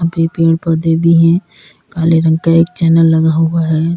यहां पे पेड़ पौधे भी हैं काले रंग का एक चैनल लगा हुआ है।